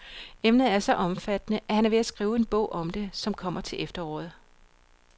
Emnet er så omfattende, at han er ved at skrive en bog om det, som kommer til efteråret.